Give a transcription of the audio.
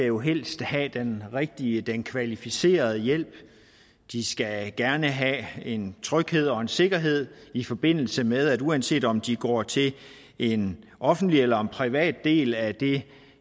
jo helst skal have den rigtige den kvalificerede hjælp de skal gerne have en tryghed og en sikkerhed i forbindelse med at uanset om de går til en offentlig eller privat del af det